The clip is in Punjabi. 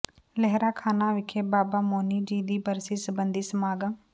ਲਹਿਰਾ ਖਾਨਾ ਵਿਖੇ ਬਾਬਾ ਮੋਨੀ ਜੀ ਦੀ ਬਰਸੀ ਸਬੰਧੀ ਸਮਾਗਮ